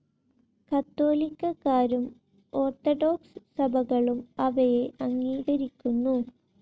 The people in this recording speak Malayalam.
കത്തോലിക്കരും ഓർത്തഡോക്സ്‌ സഭകളും അവയെ അംഗീകരിക്കുന്നു.